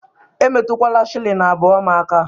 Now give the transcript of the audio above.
Emetụkwala shilling abụọ m aka.!